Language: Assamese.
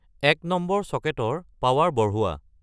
এক নম্বৰ ছকেটৰ পাৱাৰ বঢ়োৱা